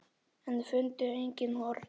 En fundu engin horn.